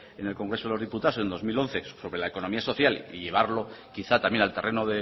en el congreso de los diputados en dos mil once sobre la economía social y llevarlo quizá también al terreno